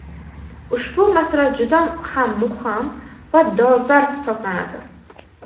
Ushbu masala juda ham muhim va dolzarb hisoblanadi.